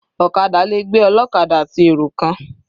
Ọ̀kadà le gbé ọlọ́kadà àti èrò kan.